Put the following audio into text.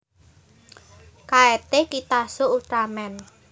Kaette Kitazo Ultraman